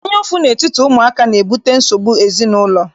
Anyaụfụ n'etiti ụmụaka na-ebute nsogbu n'ezinaụlọ.